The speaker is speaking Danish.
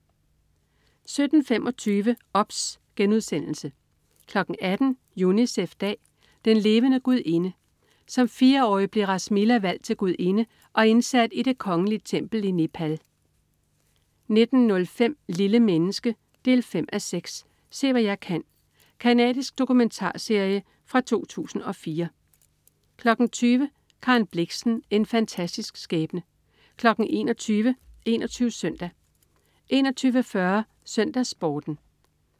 17.25 OBS* 18.00 Unicef-dag. Den levende gudinde. Som fireårig blev Rasmilla valgt til gudinde og indsat i det kongelige tempel i Nepal 19.05 Lille menneske 5:6. Se hvad jeg kan. Canadisk dokumentarserie fra 2004 20.00 Karen Blixen. En fantastisk skæbne 21.00 21 Søndag 21.40 SøndagsSporten